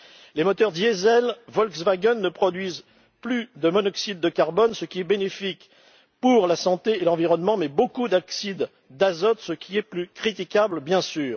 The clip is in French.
Les moteurs diesel Volkswagen ne produisent plus de monoxyde de carbone, ce qui est bénéfique pour la santé et l'environnement, mais beaucoup d'oxydes d'azote, ce qui est plus critiquable, bien sûr.